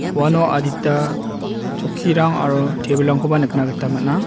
uano adita chokkirang aro tebilrangkoba nikna gita man·a.